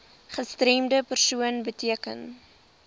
gestremde persoon beteken